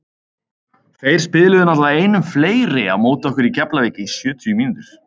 Þeir spiluðu náttúrulega einum fleiri á móti okkur í Keflavík í sjötíu mínútur.